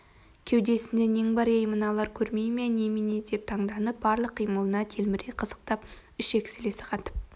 кеудесінде нең бар ей мыналар көрмей ме немене деп таңданып барлық қимылына телміре қызықтап ішек-сілесі қатып